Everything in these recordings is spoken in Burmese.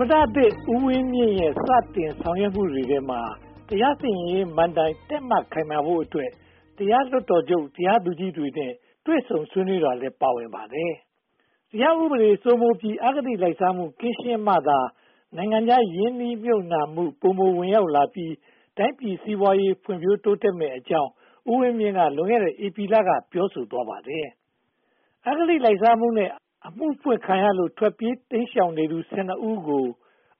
မတဦးဝင်းမြင့်ရဲ့ စတင်ဆောင်ရွက်မှုတွေထဲမှာ တရားစီရင်ရေးမဏ္ဍိုင် တည့်မတ်ခိုင်မာဖို့အတွက် တရားလွှတ်တော်ချုပ် တရားသူကြီးတွေနဲ့ တွေ့ဆုံဆွေးနွေးတာလည်း ပါဝင်လာပါတယ်။ တရားဥပဒေစိုးမိုးပြီး အဂတိလိုက်စားမှု ကင်းရှင်းမှသာ နိုင်ငံခြားရင်းနှီးမြုပ်နံှမှု ပိုမိုဝင်ရောက်လာပြီး တိုင်းပြည်စီးပွားရေး ဖွံ့ဖြိုးတိုးတက်မည်ဖြစ်ကြောင်း ဦးဝင်းမြင့်က လွန်ခဲ့တဲ့ ဧပြီလက ပြောဆိုလိုက်ပါတယ်။ အဂတိလိုက်စားမှုနဲ့ အမှုဖွင့်ခံရလို့ ထွက်ပြေးတိမ်ရှောင်နေသူ (၁၂) ဦးကို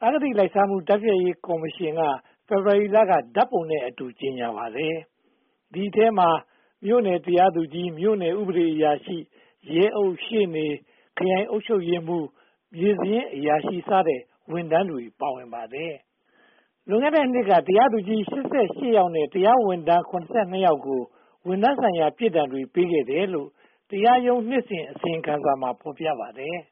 အဂတိလိုက်စားမှု တိုက်ဖျက်ရေးကော်မရှင်က ဖေဖေါ်ဝါရီလက ဓါတ်ပုံနဲ့အတူ ကြေညာပါတယ်။ ဒီအထဲမှာ မြို့နယ်တရားသူကြီး၊ မြို့နယ်ဥပဒေအရာရှိ၊ ရဲအုပ်၊ ရှေ့နေ၊ ခရိုင်အုပ်ချုပ်ရေးမှူး၊ မြေစာရင်းအရာရှိစတဲ့ ဝန်ထမ်းတွေ ပါဝင်ပါတယ်။ လွန်ခဲ့တဲ့နှစ်က တရားသူကြီး (၈၈) ယောက်နဲ့ တရားရုံးဝန်ထမ်း (၇၂) ယောက်ကို ဝန်ထမ်းဆိုင်ရာ ပြစ်ဒဏ်တွေ ပေးခဲ့တယ်လို့ တရားရုံးနှစ်စဉ် အစီရင်ခံစာမှာ ဖော်ပြပါတယ်။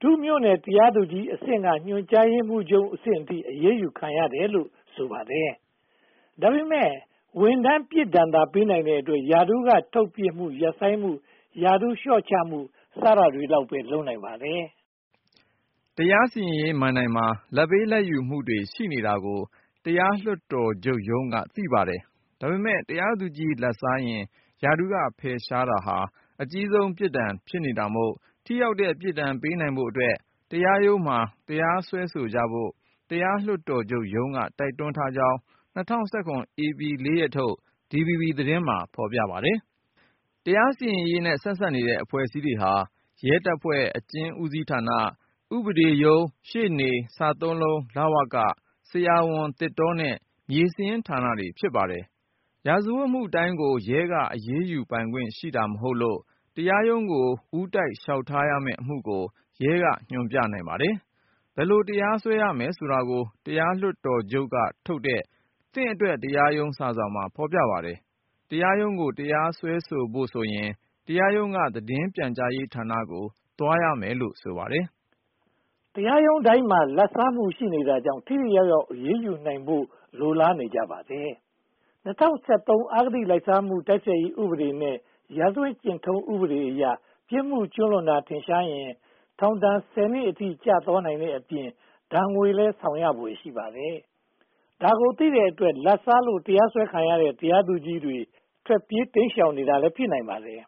ဒုမြို့နယ်တရားသူကြီးအဆင့်က ညွှန်ကြားရေးမှူးချုပ်အဆင့်အထိ အရေးယူခံရတယ်လို့ ဆိုပါတယ်။ ဒါပေမဲ့ ဝန်ထမ်းပြစ်ဒဏ်သာ ပေးနိုင်တဲ့အတွက် ရာထူးက ထုတ်ပစ်မှု၊ ရပ်ဆိုင်းမှု၊ ရာထူးလျှော့ချမှု စတာလောက်ပဲ လုပ်နိုင်ပါတယ်။ တရားစီရင်ရေးမဏ္ဍိုင်မှာ လာဘ်ပေးလာဘ်ယူမှုတွေ ရှိနေတာကို တရားလွှတ်တော်ချုပ်ရုံးက သိပါတယ်။ ဒါပေမဲ့ တရားသူကြီး လာဘ်စားရင် ရာထူးက ဖယ်ရှားတာဟာ အကြီးဆုံး ပြစ်ဒဏ်ဖြစ်နေတာမို့ ထိရောက်တဲ့ ပြစ်ဒဏ်ပေးနိုင်ဖို့အတွက် တရားရုံးမှာ တရားစွဲကြဖို့ တရားလွှတ်တော်ချုပ်ရုံးက တိုက်တွန်းထားကြောင်း ၂၀၁၇ ဧပြီလ (၄) ရက်နေ့ထုတ် DVB သတင်းမှာ ဖော်ပြထားပါတယ်။ တရားစီရင်ရေးနဲ့ ဆက်စပ်နေတဲ့ အဖွဲ့အစည်းတွေဟာ ရဲတပ်ဖွဲ့၊ အကျဉ်းဌာန၊ ဥပဒေရုံး၊ ရှေ့နေ၊ စသုံးလုံး၊ လဝက၊ ဆရာဝန်၊ သစ်တောနဲ့ မြေစာရင်းဌာနတွေ ဖြစ်ပါတယ်။ ရာဇဝတ်မှုတိုင်းကို ရဲက အရေးယူပိုင်ခွင့်ရှိတာ မဟုတ်လို့ တရားရုံးကို ဦးတိုက်လျှောက်ထားရမယ့် အမှုကို ရဲက ညွှန်ပြနိုင်ပါတယ်။ ဘယ်လို တရားစွဲရမယ်ဆိုတာကို တရားလွှတ်တော်ချုပ်ကထုတ်တဲ့ 'သင့်အတွက် တရားရုံး' စာစောင်မှာ ဖော်ပြထားပါတယ်။ တရားရုံးကို တရားစွဲဆိုဖို့ဆိုရင် တရားရုံးက သတင်းပြန်ကြားရေးဌာနကို သွားရမယ်လို့ ဆိုပါတယ်။ တရားရုံးတိုင်းမှာ လာဘ်စားမှု ရှိနေတာကြောင့် ထိထိရောက်ရောက် အရေးယူနိုင်ဖို့ လိုလားနေကြပါတယ်။ ၂၀၁၃ အဂတိလိုက်စားမှု တိုက်ဖျက်ရေးဥပဒေနဲ့ ရာဇဝတ်ကျင့်ထုံးဥပဒေအရ ပြစ်မှုကျူးလွန်တာ ထင်ရှားရင် ထောင်ဒဏ် (၁၀) နှစ်အထိ ကျသွားနိုင်တဲ့အပြင် ဒဏ်ငွေလည်း ဆောင်ရဖွယ်ရှိပါတယ်။ ဒါကိုသိတဲ့အတွက် လာဘ်စားလို့ တရားစွဲခံထားရတဲ့ တရားသူကြီးတွေ ထွက်ပြေးတိမ်ရှောင်နေတာ ဖြစ်ပုံရပါတယ်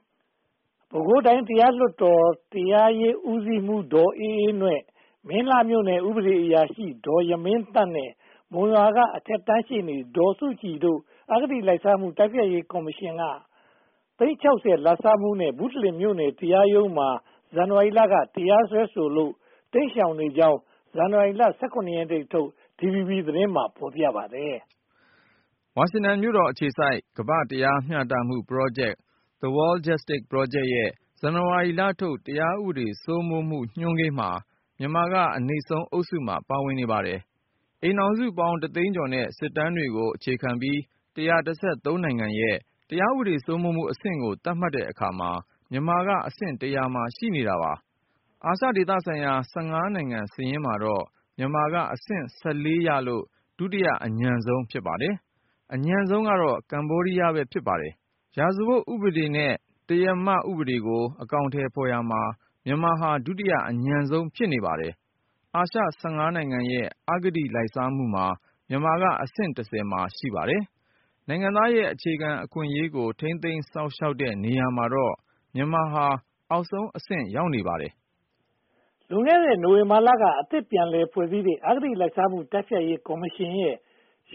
။ ပဲခူးတိုင်းတရားလွှတ်တော်၊ တိုင်းတရားရေးဦးစီးမှူး ဒေါ်အေးအေးနွဲ့၊ မင်းလှမြို့နယ် ဥပဒေအရာရှိ ဒေါ်ယမင်းသန့်နဲ့ မုံရွာမြို့က အထက်တန်းရှေ့နေ ဒေါ်စုကြည်တို့ကို အဂတိလိုက်စားရေး တိုက်ဖျက်ရေးကော်မရှင်က သိန်း (၆၀) လာဘ်စားမှုနဲ့ ဘုတလင်မြို့နယ် တရားရုံးမှာ ဇန်နဝါရီလက တရားစွဲထားလို့ တိမ်းရှောင်နေကြောင်း ဇန်နဝါရီလ (၁၇) ရက်နေ့ထုတ် DVB သတင်းမှာ ဖော်ပြခဲ့ပါတယ်။ ဝါရှင်တန်မြို့တော်အခြေစိုက် တရားမျှတမှုပရောဂျက် The World Justice Project ရဲ့ ဇန်နဝါရီလထုတ် တရားဥပဒေ စိုးမိုးမှုညွှန်းကိန်းမှာ မြန်မာက အနိမ့်ဆုံးအုပ်စုမှာ ပါဝင်နေပါတယ်။ အိမ်ထောင်စုပေါင်း တသိန်းကျော်နဲ့ စစ်တမ်းတွေကို အခြေခံပြီး (၁၁၃) နိုင်ငံရဲ့ တရားဥပဒေစိုးမိုးမှုအဆင့်ကို သတ်မှတ်တဲ့အခါမှာ မြန်မာကအဆင့် (၁၀၀) မှာ ရှိနေပါတယ်။ အာရှဒေသဆိုင်ရာ (၁၅) နိုင်ငံစာရင်းမှာတော့ မြန်မာကအဆင့် (၁၄) ရလို့ ဒုတိယအညံ့ဆုံး ဖြစ်ပါတယ်။ အညံ့ဆုံးက ကမ္ဘောဒီးယား ဖြစ်ပါတယ်။ ရာဇဝတ်ဥပဒေနဲ့ တရားဥပဒေကို အကောင်အထည်ဖော်ရာမှာ မြန်မာဟာ ဒုတိယအညံ့ဆုံး ဖြစ်ပါတယ်။ အာရှ (၁၅) နိုင်ငံရဲ့ အဂတိလိုက်စားမှုမှာ မြန်မာကအဆင့် (၁၀) မှာ ရှိပါတယ်။ နိုင်ငံသားရဲ့ အခြေခံအခွင့်အရေးကို ထိန်းသိမ်းစောင့်ရှောက်တဲ့နေရာမှာတော့ မြန်မာက အောက်ဆုံးအဆင့်ကို ရောက်နေပါတယ်။ လွန်ခဲ့တဲ့ နိုဝင်ဘာလက အသစ်ပြန်လည်ဖွဲ့စည်းလိုက်တဲ့ အဂတိလိုက်စားမှု တိုက်ဖျက်ရေးကော်မရှင်ရဲ့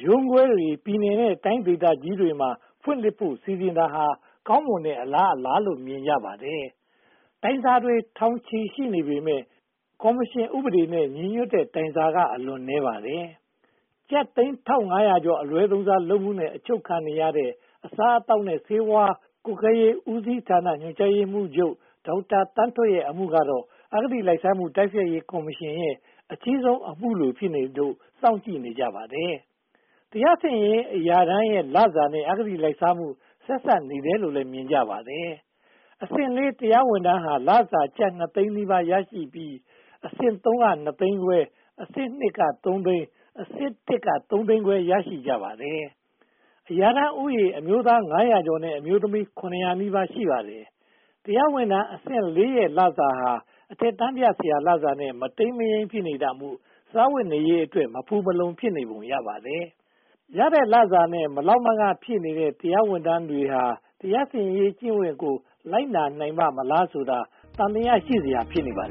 ရုံးခွဲတွေကို ပြည်နယ်နဲ့တိုင်း ဒေသကြီးတွေမှာ ဖွင့်လှစ်ဖို့ စီစဉ်တာဟာ ကောင်းမွန်တဲ့အလားအလာလို့ မြင်ကြပါတယ်။ တိုင်းကြားစာတွေ ထောင်ချီနေပြီဖြစ်ပေမယ့် ကော်မရှင်ဥပဒေနဲ့ ညီညွှတ်တဲ့ တိုင်းကြားစာက အလွန်နည်းပါးပါတယ်။ ကျပ်သိန်း (၁၅၀၀) ကျော် အလွဲသုံးစားလုပ်မှုနဲ့ အချုပ်ခံနေရတဲ့ အစားအသောက်နဲ့ ဆေးဝါးကွပ်ကဲရေး ဦးစီးဌာန ညွှန်ကြားရေးမှူးချုပ် ဒေါက်တာသန်းထွဋ်ရဲ့ အမှုကတော့ အဂတိလိုက်စားမှု တိုက်ဖျက်ရေးကော်မရှင်ရဲ့ အကြီးဆုံးအမှုလို ဖြစ်နေလို့ စောင့်ကြည့်နေကြပါတယ်။ တရားစီရင်ရေး အရာထမ်းရဲ့လစာနဲ့ အဂတိလိုက်စားမှု ဆက်စပ်နေတယ်လို့လည်း မြင်ကြပါတယ်။ အဆင့် (၄) တရားဝန်ထမ်းဟာ လစာကျပ် (၂) သိန်းနီးပါးရရှိပြီး၊ အဆင့် (၃) က နှစ်သိန်းခွဲ၊ အဆင့် (၂) က သုံးသိန်း၊ အဆင့် (၁) က သုံးသိန်းခွဲ ရရှိကြပါတယ်။ အရာထမ်းဦးရေ အမျိုးသား (၅၀၀) ကျော်နဲ့ အမျိုးသမီး (၇၀၀) နီးပါး ရှိပါတယ်။ တရားဝန်ထမ်းအဆင့် (၄) ရဲ့ လစာဟာ အထက်တန်းပြဆရာ လစာနဲ့ မတိမ်မယိမ်း ဖြစ်နေတာမို့ စားဝတ်နေရေးအတွက် မဖူမလုံ ဖြစ်နေပုံရပါတယ်။ ရတဲ့လစာနဲ့ မလောက်မငှ ဖြစ်နေတဲ့ တရားဌာနဝန်ထမ်းဟာ တရားစီရင်ရေးကျင့်ဝတ်ကို လိုက်နာနိုင်ပါ့မလားဆိုတာဟာ သံသယ ရှိစရာ ဖြစ်နေပါတယ်